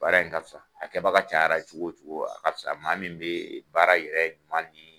Baara in ka fisa a kɛbaga cayara cogo o cogo a ka fisa maa min bɛ baara yɛrɛ tuma ni